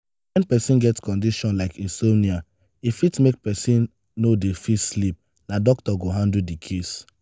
when person get condition like insomnia e fit make am no dey fit sleep na doctor go handle di case